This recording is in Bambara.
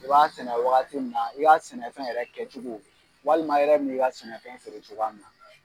I b'a sɛnɛ wagati min na i ka sɛnɛfɛn yɛrɛ kɛcogo walima e yɛrɛ bi na i ka sɛnɛfɛn feere cogoya min na.